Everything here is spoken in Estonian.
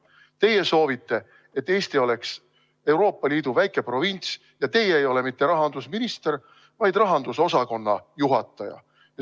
Teie soovite, et Eesti oleks Euroopa Liidu väike provints, ja teie ei ole mitte rahandusminister, vaid rahandusosakonna juhataja.